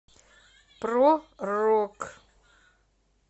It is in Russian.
про рок